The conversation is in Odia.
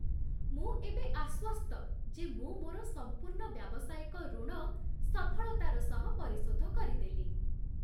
ମୁଁ ଏବେ ଆଶ୍ୱସ୍ତ ଯେ ମୁଁ ମୋର ସମ୍ପୂର୍ଣ୍ଣ ବ୍ୟାବସାୟିକ ଋଣ ସଫଳତାର ସହ ପରିଶୋଧ କରିଦେଲି।